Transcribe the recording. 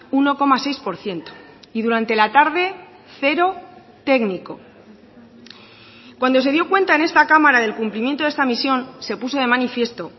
uno coma seis por ciento y durante la tarde cero técnico cuando se dio cuenta en esta cámara del cumplimiento de esta misión se puso de manifiesto